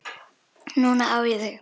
Núna á ég þig.